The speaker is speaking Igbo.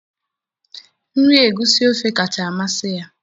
nri egusi ofe kacha amasị ya